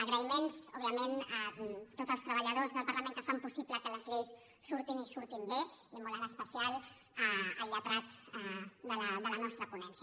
agraïments òbviament a tots els treballadors del parlament que fan possible que les lleis surtin i surtin bé i molt en especial al lletrat de la nostra ponència